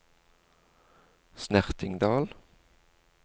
Snertingdal